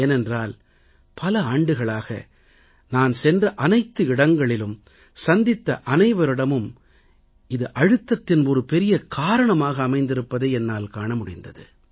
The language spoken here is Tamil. ஏனென்றால் பல ஆண்டுகளாக நான் சென்ற அனைத்து இடங்களிலும் சந்தித்த அனைவரிடமும் இது அழுத்தத்தின் ஒரு பெரிய காரணமாக அமைந்திருப்பதைக் காண முடிந்தது